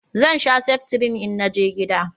Zan sha seftrin in naje gida